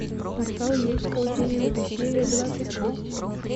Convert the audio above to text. портал юрского периода серия двадцать шесть